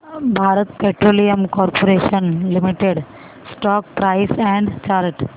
Bharat Petroleum Corporation Limited stock price and chart